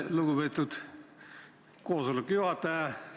Lugupeetud koosoleku juhataja!